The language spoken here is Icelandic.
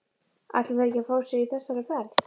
Ætla þeir ekkert að fá sér í þessari ferð??